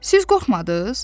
Siz qorxmadız?